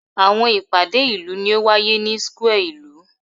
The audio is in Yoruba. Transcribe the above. Awọn ipade ilu ni o waye ni square ilu